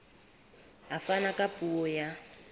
a fana ka puo ya